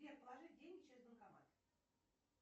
сбер положить деньги через банкомат